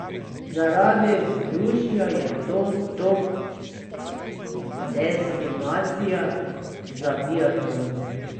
Zaradi vzdušja je to top destinacija za biatlon.